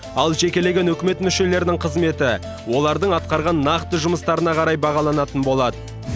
ал жекелеген үкімет мүшелерінің қызметі олардың атқарған нақты жұмыстарына қарай бағаланатын болады